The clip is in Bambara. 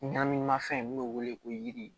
Naminimafɛn min bɛ wele ko yiri